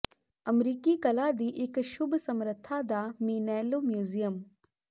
ਅਮਰੀਕੀ ਕਲਾ ਦੀ ਇੱਕ ਸ਼ੁਭ ਸਮਰਥਾ ਦਾ ਮੇਨੈਲੋ ਮਿਊਜ਼ੀਅਮ